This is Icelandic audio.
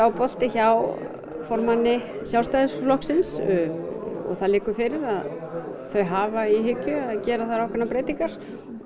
bolti hjá formanni Sjálfstæðisflokksins og það liggur fyrir að þau hafa í hyggju að gera þar ákveðnar breytingar